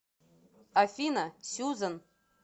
афина сюзан